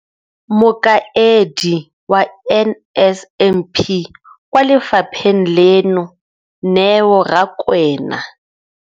Mokaedi wa NSNP kwa lefapheng leno, Neo Rakwena,